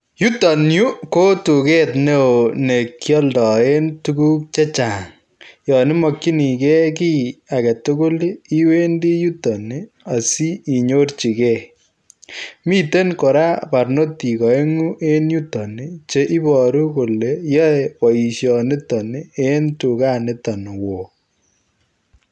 Yutoon Yuu ko tugeet ne ooh nekialdaen tuguuk che chaang yaan imakyinigei kiy age tugul ii iwendii yutoon ii asiinyorjigei miten kora parnotiik aenguu en yutoon ii che iboruu kole ii yae baishanito ii en tuget nitoon wooh